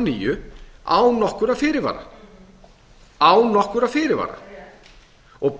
nýju án nokkurra fyrirvara